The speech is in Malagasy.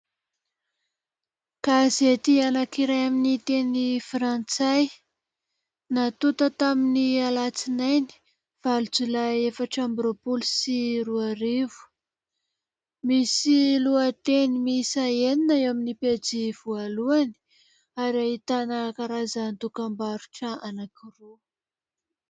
Gazety anankiray amin'ny teny frantsay , natota tamin'ny alatsinainy valo jolay efatra ambin'ny roapolo sy roarivo , misy lohateny misa enina eo amin'ny pejy voalohany ary ahitana karazanacdokam-barotra anankiroa .